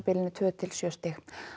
tveggja til sjö stig